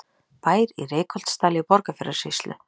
Bær í Reykholtsdal í Borgarfjarðarsýslu.